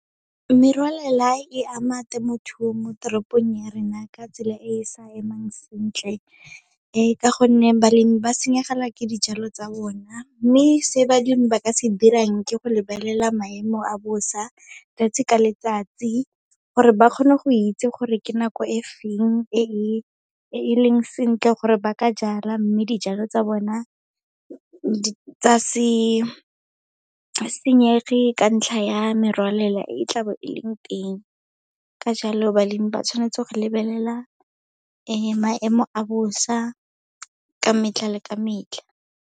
Merwalela e ama temothuo mo teropong ya rena ka tsela e e sa emang sentle, ka gonne balemi ba senyegelwa ke dijalo tsa bona. Mme se balemi ba ka se dirang, ke go lebelela maemo a bosa 'tsatsi ka letsatsi, gore ba kgone go itse gore ke nako e feng e e leng sentle gore ba ka jala, mme dijalo tsa bona tsa se senyege ka ntlha ya merwalela e tla bo e leng teng. Ka jalo balemi ba tshwanetse go lebelela maemo a bosa ka metlha le ka metlha.